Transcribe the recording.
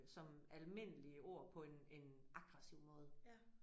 Som almindelige ord på en en aggressiv måde